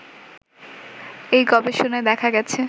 এই গবেষমায় দেখা গেছে